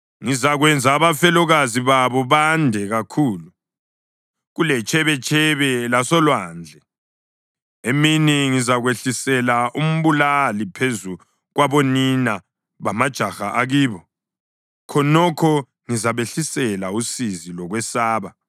Ngizakwenza abafelokazi babo bande kakhulu kuletshebetshebe lasolwandle. Emini ngizakwehlisela umbulali phezu kwabonina bamajaha akibo; khonokho ngizabehlisela usizi lokwesaba.